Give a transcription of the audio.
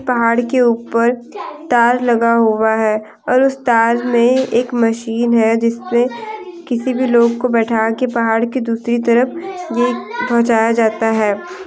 पहाड़ के ऊपर तार लगा हुआ है और उस तार में एक मशीन है जिसमें किसी भी लोग को बैठा के पहाड़ की दूसरी तरफ इप पहुंचाया जाता है।